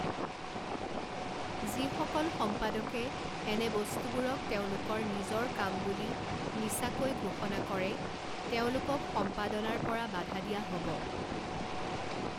যিসকল সম্পাদকে এনে বস্তুবোৰক তেওঁলোকৰ নিজৰ কাম বুলি মিছাকৈ ঘোষণা কৰে তেওঁলোকক সম্পাদনাৰ পৰা বাধা দিয়া হ'ব।